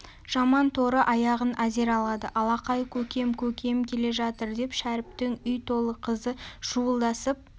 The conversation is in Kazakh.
жаман торы аяғын әзер алады алақай көкем көкем келе жатыр деп шәріптің үй толы қызы шуылдасып